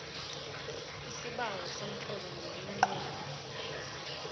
isibawo somtlolo ngeminqopho